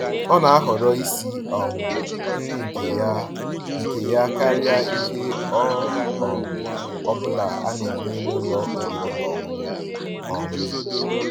Ọ́ ná-àhọ̀rọ́ ísi um nrí nkè yá nkè yá kàríà íhè ọ́ um bụ́là á ná-ènyé n'ụ́lọ̀ ọ̀rị́rị́ ná ọ̀ṅụ̀ṅụ̀ um